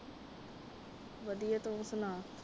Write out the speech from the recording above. ਵਧੀਆ, ਤੁਸੀਂ ਸੁਣਾਓ